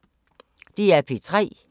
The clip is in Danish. DR P3